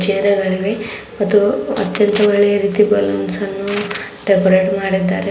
Chair ಗಳಿವೆ ಮತ್ತು ಅತ್ಯಂತ ಒಳ್ಳೆಯ ರೀತಿಯ ಬಲೂನ್ಸ್ ಅನ್ನು ಡೆಕೋರೇಟ್ ಮಾಡಿದ್ದಾರೆ.